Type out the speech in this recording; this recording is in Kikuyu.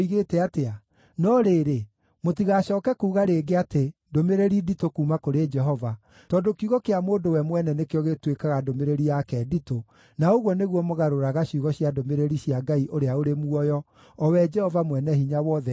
No rĩrĩ, mũtigacooke kuuga rĩngĩ atĩ ‘ndũmĩrĩri nditũ kuuma kũrĩ Jehova,’ tondũ kiugo kĩa mũndũ we mwene nĩkĩo gĩtuĩkaga ndũmĩrĩri yake nditũ, na ũguo nĩguo mũgarũraga ciugo cia ndũmĩrĩri cia Ngai ũrĩa ũrĩ muoyo, o we Jehova Mwene-Hinya-Wothe, Ngai witũ.